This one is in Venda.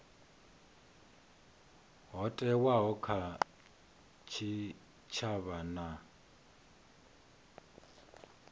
ho thewaho kha tshitshavha na